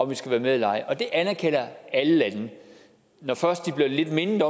vi skal være med eller ej og det anerkender alle lande når først de bliver mindet